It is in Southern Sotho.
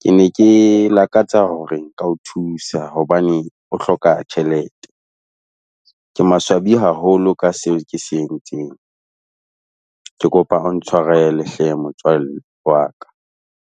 Ke ne ke lakatsa hore ka ho thusa hobane o hloka tjhelete. Ke maswabi haholo ka seo ke se entseng. Ke kopa o ntshwarele hle motswalle wa ka.